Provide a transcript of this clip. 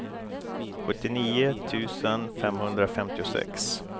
sjuttionio tusen femhundrafemtiosex